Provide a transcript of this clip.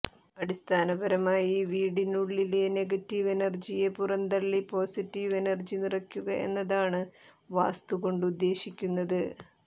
അടിസ്ഥാനപരമായി വീടിനുള്ളിലെ നെഗറ്റീവ് എനർജിയെ പുറന്തള്ളി പൊസിറ്റീവ് എനർജി നിറയ്ക്കുക എന്നതാണ് വാസ്തു കൊണ്ടുദ്ദേശിക്കുന്നത്